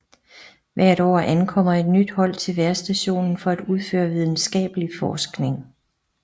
Hvert år ankommer et nyt hold til vejrstationen for at udføre videnskabelig forskning